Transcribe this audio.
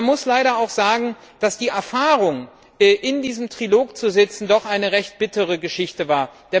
Man muss leider auch sagen, dass die Erfahrung, in diesem Trilog zu sitzen, doch eine recht bittere Geschichte war.